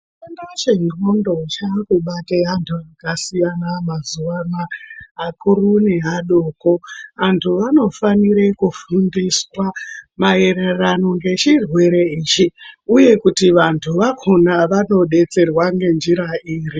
Chitenda chendxonda cahakubate antu akasiyana mazuwanaya akuru neadoko antu anofanire kufundiswa maererano nechirwere ichi uye kuti vantu vakona vanodetserwa ngenjira iri.